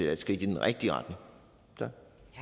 er et skridt i den rigtige retning tak